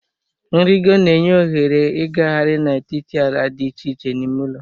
Nrịgo na-enye ohere ịgagharị n'etiti ala dị iche iche n'ime ụlọ